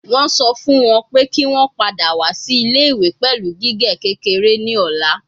Wọn sọ fun wọn pe ki wọn pada wa si ile-iwe pẹlu gige kekere ni ọla